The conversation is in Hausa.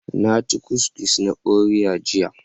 Na ci kukis na Oreos jiya